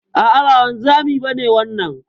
A'a ba wanzamin ba ne wannan.